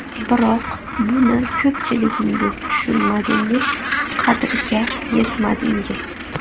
Biroq buni ko‘pchiligingiz tushunmadingiz, qadriga yetmadingiz.